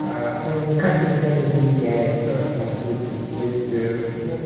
аа он никак на тебя не влияет ээ по сути то есть ээ ну